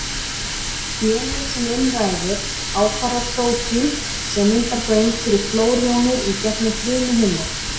Genið sem um ræðir ákvarðar prótín sem myndar göng fyrir klórjónir í gegnum frumuhimnur.